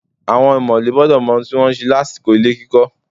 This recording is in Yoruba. Àwọn ọ̀mọ̀lé gbọ́dọ̀ mọ ohun tí wọ́n ń ṣe lásìkò ilé kíkọ